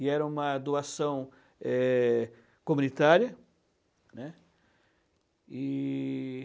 E era uma doação eh comunitária, né. E...